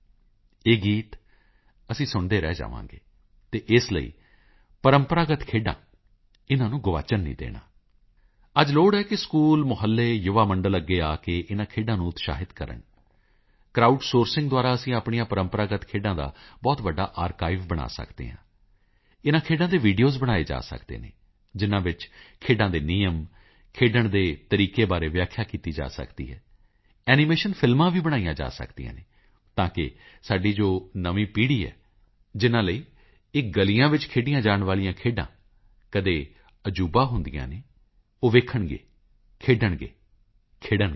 ਇਹ ਗੀਤ ਅਸੀਂ ਸੁਣਦੇ ਰਹਿ ਜਾਵਾਂਗੇ ਅਤੇ ਇਸ ਲਈ ਪ੍ਰੰਪਰਾਗਤ ਖੇਡਾਂ ਇਨ੍ਹਾਂ ਨੂੰ ਗੁਆਚਣ ਨਹੀਂ ਦੇਣਾ ਅੱਜ ਲੋੜ ਹੈ ਕਿ ਸਕੂਲ ਮੁਹੱਲੇ ਯੁਵਾਮੰਡਲ ਅੱਗੇ ਆ ਕੇ ਇਨ੍ਹਾਂ ਖੇਡਾਂ ਨੂੰ ਉਤਸਾਹਿਤ ਕਰਨ ਕਰਾਉਡ ਸੋਰਸਿੰਗ ਦੁਆਰਾ ਅਸੀਂ ਆਪਣੀਆਂ ਪ੍ਰੰਪਰਾਗਤ ਖੇਡਾਂ ਦਾ ਬਹੁਤ ਵੱਡਾ ਆਰਕਾਈਵ ਬਣਾ ਸਕਦੇ ਹਾਂ ਇਨ੍ਹਾਂ ਖੇਡਾਂ ਦੇ ਵੀਡੀਓਜ਼ ਬਣਾਏ ਜਾ ਸਕਦੇ ਹਨ ਜਿਨਾਂ ਵਿੱਚ ਖੇਡਾਂ ਦੇ ਨਿਯਮ ਖੇਡਣ ਦੇ ਤਰੀਕੇ ਬਾਰੇ ਵਿਆਖਿਆ ਕੀਤੀ ਜਾ ਸਕਦੀ ਹੈ ਐਨੀਮੇਸ਼ਨ ਫ਼ਿਲਮਾਂ ਵੀ ਬਣਾਈਆਂ ਜਾ ਸਕਦੀਆਂ ਹਨ ਤਾਂ ਕਿ ਸਾਡੀ ਜੋ ਨਵੀਂ ਪੀੜ੍ਹੀ ਹੈ ਜਿਨਾਂ ਲਈ ਇਹ ਗਲੀਆਂ ਵਿੱਚ ਖੇਡੀਆਂ ਜਾਣ ਵਾਲੀਆਂ ਖੇਡਾਂ ਕਦੇ ਅਜੂਬਾ ਹੁੰਦੀਆਂ ਹਨ ਉਹ ਵੇਖਣਗੇ ਖੇਡਣਗੇ ਖਿੜਨਗੇ